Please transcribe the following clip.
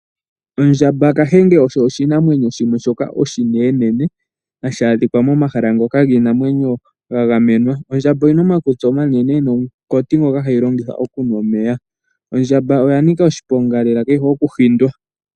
Ondjamba nenge Kahenge osho oshinamwenyo shoka oshinene na ohashi adhika pomahala ngoka giinamwenyo ga gamenwa. Ondjamba oyi na omakutsi omanene nomunkati ngoka hayi longitha okunwa omeya. Oya nika oshiponga lela yo ka yi hole okuhindwa.